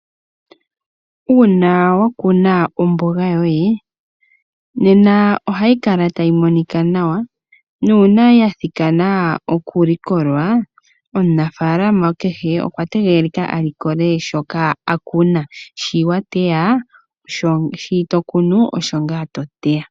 Uuna wa kuna omboga yoye, nena ohayi kala tayi monika nawa nuuna ya thikana okulikolwa, omunafaalama kehe okwa tegelelwa a likole shoka a kuna. Shi to kunu osho ngaa to teya.